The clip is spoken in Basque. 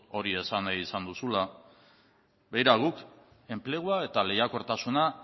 hori esan nahi izan duzula begira guk enplegua eta lehiakortasuna